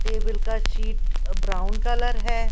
Table का sheet brown colour है ।